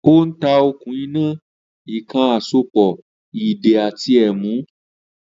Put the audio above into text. Ó ń ta “okùn iná, èèkàn àsopọ̀, ìdè àti ẹ̀mú”